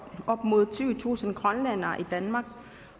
op mod tyvetusind grønlændere i danmark